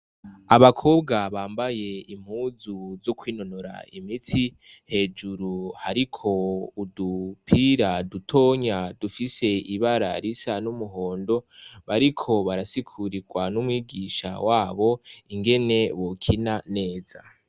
Abakobwa bambaye impuzu zo kwinonora imitsi, hejuru hariko udupira dutonya dufise ibara risa n'umuhondo, bariko barasigurirwa n'umwigisha wabo ingene bokina neza.